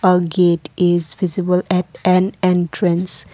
a gate is visible at an entrance.